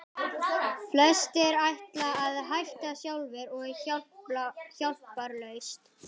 Flestir ætla að hætta sjálfir og hjálparlaust.